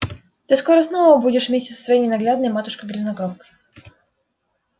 ты скоро снова будешь вместе со своей ненаглядной матушкой-грязнокровкой